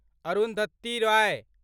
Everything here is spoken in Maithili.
अरुन्धति रोय